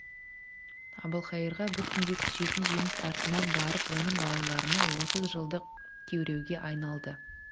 әбілқайырға бір түнде түсетін жеңіс артынан барып оның балаларына отыз жылдық күйреуге айналды